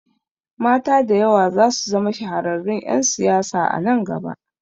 Mata da yawa zasu zama shahararrun ƴan siyasa a nan gaba